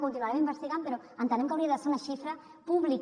continuarem investigant però entenem que hauria de ser una xifra pública